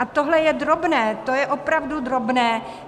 A tohle je drobné, to je opravdu drobné.